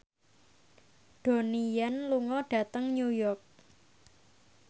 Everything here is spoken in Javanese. Donnie Yan lunga dhateng New York